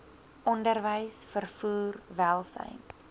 onderwys vervoer welsyn